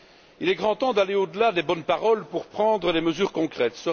Il est grand temps d'aller au delà des bonnes paroles pour prendre des mesures concrètes.